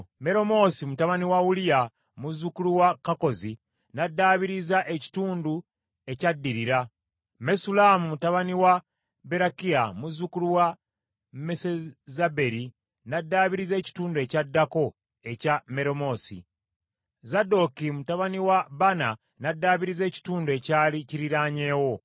Meremoosi mutabani wa Uliya, muzzukulu wa Kakkozi n’addaabiriza ekitundu ekyaddirira; Mesullamu mutabani wa Berekiya, muzzukulu wa Mesezaberi n’addaabiriza ekitundu ekyaddako ekya Meremoosi. Zadooki mutabani wa Baana n’addaabiriza ekitundu ekyali kiriraanyeewo.